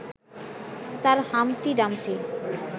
তাঁর Humpty Dumpty